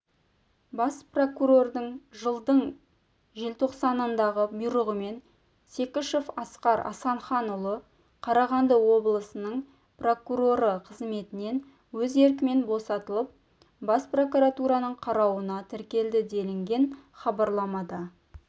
бас прокурордың жылдың желтоқсанындағы бұйрығымен секішев асқар асанханұлы қарағанды облысының прокуроры қызметінен өз еркімен босатылып бас прокуратураның қарауына тіркелді делінген хабарламада